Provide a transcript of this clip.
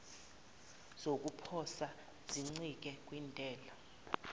zokuposa zincike kwintela